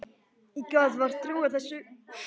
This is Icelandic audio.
Ég gat vart trúað þessu.